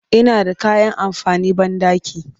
Ina da kayan amfanin banɗaki